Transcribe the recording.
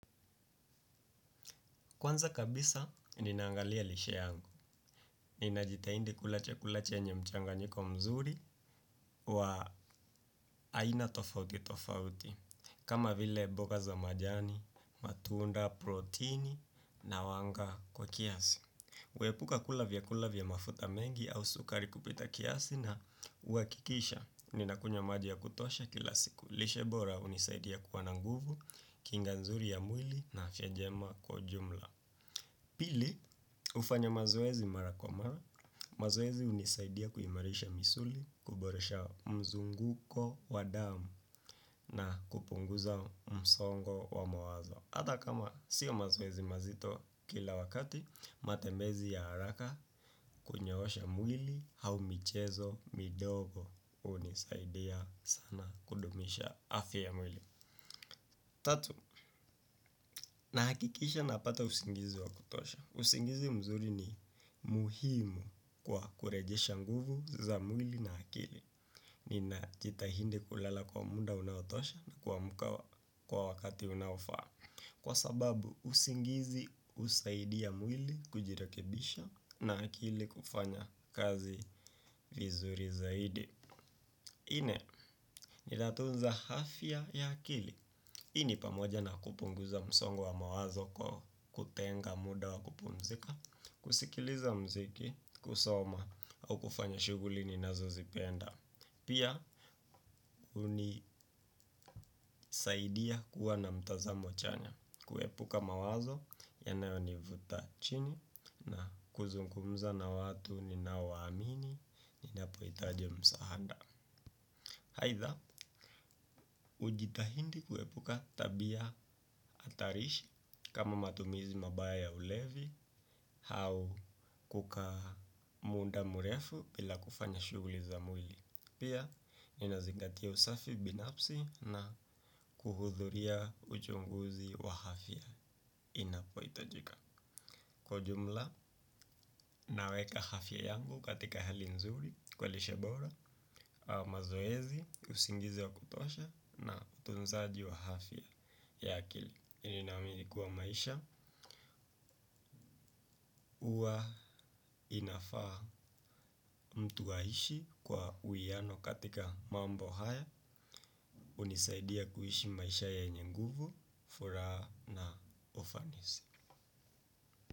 Kwanza kabisa, ninaangalia lishe yangu. Ninajitahidi kula chakula chenye mchanganyiko mzuri wa aina tofauti tofauti. Kama vile mboga za majani, matunda, protini na wanga kwa kiasi. Huepuka kula vyakula vya mafuta mengi au sukari kupita kiasi na huhakikisha. Ninakunywa maji ya kutosha kila siku. Lishe bora hunisaidia kuwa na nguvu, kinga nzuri ya mwili na afya njema kwa ujumla. Pili, hufanya mazoezi mara kwa mara, mazoezi hunisaidia kuimarisha misuli, kuboresha mzunguko wa damu na kupunguza msongo wa mawazo. Hata kama sio mazoezi mazito kila wakati, matembezi ya haraka, kunyoosha mwili au michezo midogo hunisaidia sana kudumisha afya ya mwili. Tatu, nahakikisha napata usingizi wa kutosha. Usingizi mzuri ni muhimu kwa kurejesha nguvu za mwili na akili. Nina jitahidi kulala kwa muda unaotosha na kumka kwa wakati unaofaa. Kwa sababu, usingizi husaidia mwili kujirekebisha na akili kufanya kazi vizuri zaidi. Nne, inatunza afya ya akili. Hii ni pamoja na kupunguza msongo wa mawazo kwa kutenga muda wa kupumzika. Kusikiliza muziki, kusoma au kufanya shughuli ninazozipenda. Pia, hunisaidia kuwa na mtazamo chanya. Kuepuka mawazo, yanayonivuta chini na kuzungumza na watu ninaowaamini, ninapohitaji msaada. Aidha, hujitahidi kuepuka tabia hatarishi kama matumizi mabaya ya ulevi au kukaa muda mrefu bila kufanya shughuli za mwili. Pia, ninazigatia usafi binafsi na kuhudhuria uchunguzi wa afya inapohitajika. Kwa jumla, naweka afya yangu katika hali nzuri, kwa lishe bora, mazoezi, usingizi wa kutosha na utunzaji wa afya ya akili. Ninaamini kuwa maisha, huwa inafaa mtu aishi kwa uwiano katika mambo haya, hunisaidia kuishi maisha yenye nguvu, furaha na ufanisi.